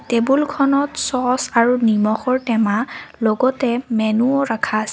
টেবুলখনত চছ্ আৰু নিমখৰ টেমা লগতে মেনুও ৰখা আছে।